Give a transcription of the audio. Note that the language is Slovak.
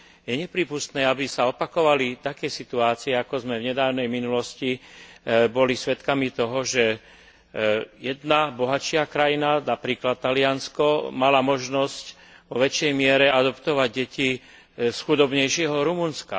Je neprípustné, aby sa opakovali také situácie, ako sme v nedávnej minulosti boli svedkami toho, že jedna bohatšia krajina, napríklad Taliansko, mala možnosť vo väčšej miere adoptovať deti z chudobnejšieho Rumunska.